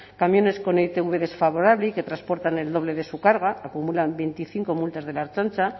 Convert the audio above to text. camiones con itv desfavorable y que transportan el doble de su carga acumulan veinticinco multas de la ertzaintza